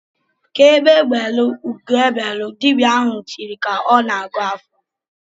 "Ka egbe belụ, ugo ebelu!" Dibịa ahụ tiri ka ọ na-agọ ọfọ.